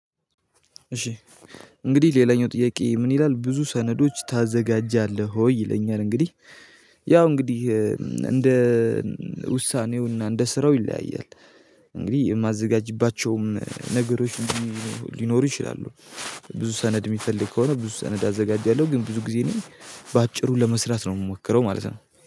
እሺ እንግዲህ ሌላኛው ጥያቄ ምን ይላል ብዙ ሰነዶች ታዘጋጃለህ ወይ ይለኛል? እንግዲህ ያው እንግዲህ እንደ ውሳኔውና እንደ ስራው ይለያያል። እንግዲህ የማዘጋጅባቸውም ነገሮች ሊኖሩ ይችላሉ። ብዙ ሰነድ የሚፈልግ ከሆነ ብዙ ሰነድ አዘጋጃለሁ ግን ብዙ ጊዜ እኔ በአጭሩ ለመስራት ነው የምሞክረው ማለት ነው